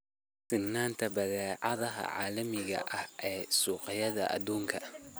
Siinta badeecadaha caalamiga ah ee suuqyada adduunka.